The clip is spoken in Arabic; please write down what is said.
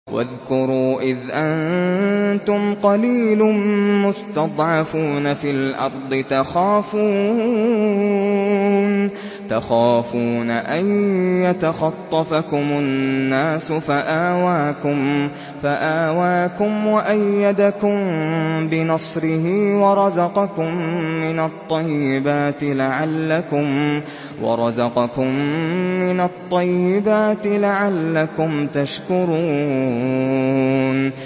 وَاذْكُرُوا إِذْ أَنتُمْ قَلِيلٌ مُّسْتَضْعَفُونَ فِي الْأَرْضِ تَخَافُونَ أَن يَتَخَطَّفَكُمُ النَّاسُ فَآوَاكُمْ وَأَيَّدَكُم بِنَصْرِهِ وَرَزَقَكُم مِّنَ الطَّيِّبَاتِ لَعَلَّكُمْ تَشْكُرُونَ